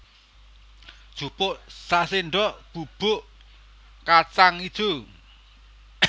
Jupuk saséndok bubuk kacang ijo